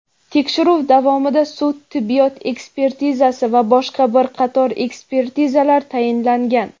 Tekshiruv davomida sud-tibbiyot ekspertizasi va boshqa bir qator ekspertizalar tayinlangan.